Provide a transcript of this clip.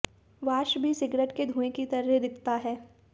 वाष्प भी सिगरेट के धुएं की तरह दिखता है